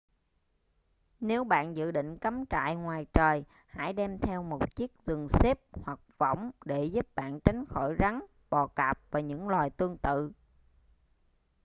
nếu bạn dự định cắm trại ngoài trời hãy đem theo một chiếc giường xếp hoặc võng để giúp bạn tránh khỏi rắn bò cạp và những loài tương tự